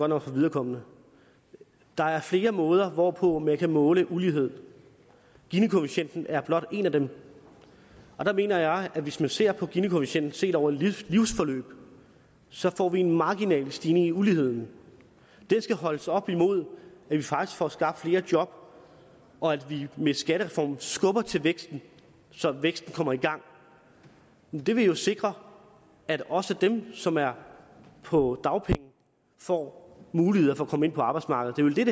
nok for viderekomne der er flere måder hvorpå man kan måle ulighed gini koefficienten er blot en af dem og der mener jeg at hvis man ser på gini koefficienten over et livsforløb så får vi en marginal stigning i uligheden den skal holdes op imod at vi faktisk får skabt flere job og at vi med skattereformen skubber til væksten så væksten kommer i gang det vil jo sikre at også dem som er på dagpenge får muligheder for at komme ind på arbejdsmarkedet det er